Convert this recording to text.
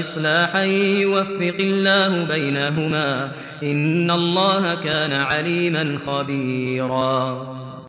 إِصْلَاحًا يُوَفِّقِ اللَّهُ بَيْنَهُمَا ۗ إِنَّ اللَّهَ كَانَ عَلِيمًا خَبِيرًا